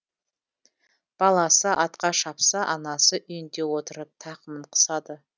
баласы атқа шапса анасы үйінде отырып тақымын қысады